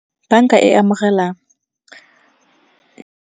Banka e amogela.